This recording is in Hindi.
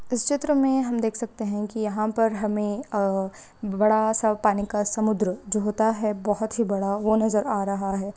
इस चित्र मे हम देख सकते हैं की यहाँ पर हमें आ बड़ा सा पानी का समुद्र जो होता है बहोत ही बड़ा वो नजर आ रहा है।